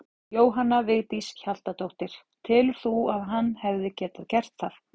Jóhanna Vigdís Hjaltadóttir: Telur þú að hann hefði getað gert það?